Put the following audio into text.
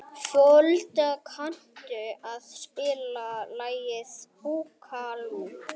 Folda, kanntu að spila lagið „Búkalú“?